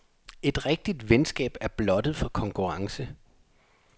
Et rigtigt venskab er blottet for konkurrence.